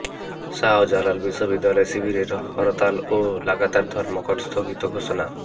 শাহজালাল বিশ্ববিদ্যালয় শিবিরের হরতাল ও লাগাতার ধর্মঘট স্থগিত ঘোষণা